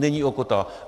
Není ochota.